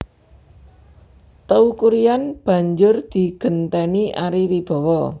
Teuku Ryan banjur digenténi Ari Wibowo